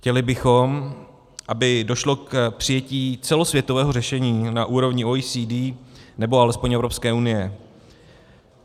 Chtěli bychom, aby došlo k přijetí celosvětového řešení na úrovni OECD, nebo alespoň Evropské unie.